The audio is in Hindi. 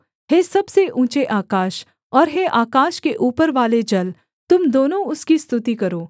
हे सबसे ऊँचे आकाश और हे आकाश के ऊपरवाले जल तुम दोनों उसकी स्तुति करो